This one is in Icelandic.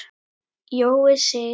Jói Sig.